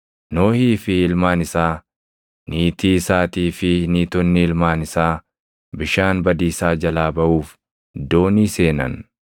Nohii fi ilmaan isaa, niitii isaatii fi niitonni ilmaan isaa bishaan badiisaa jalaa baʼuuf doonii seenan.